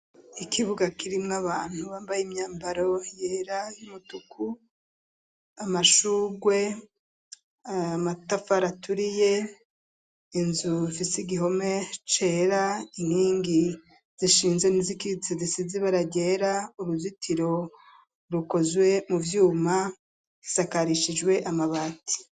Ikibuga, kirimwo abantu, bambaye imyambaro yera, y'umutuku; amashurwe, amatafari aturiye, inzu ifise igihome cera, inkingi zishinze, n'izikitse, zisize ibara ryera, uruzitiro, rukozwe mu vyuma, isakarishijwe amabati.